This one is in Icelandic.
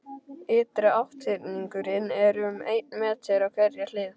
Ytri átthyrningurinn er um einn meter á hverja hlið.